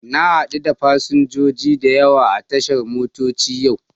Na hadu da fasinjoji da yawa a tashar motoci yau.